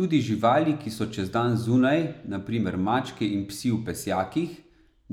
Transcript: Tudi živali, ki so čez dan zunaj, na primer mačke in psi v pesjakih,